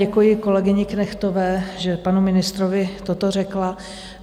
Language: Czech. Děkuji kolegyni Knechtové, že panu ministrovi toto řekla.